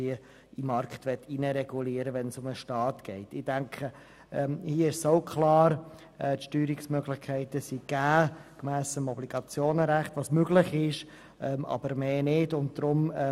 In diesem Fall dürfte es klar sein, denn die Steuerungsmöglichkeiten sind gemäss dem Schweizerischen Obligationenrecht soweit wie möglich gegeben, aber nicht weiter.